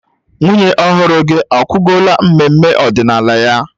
Nwunye ọhụrụ gị akwụgola mmemme ọdịnala ya